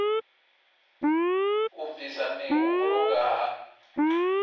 u bvisa mihumbulo nga ha